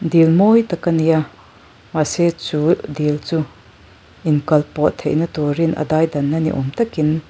dil mawi tak a ni a mahse chu dil chu inkalpawh theihna turin a daidanna ni awm takin --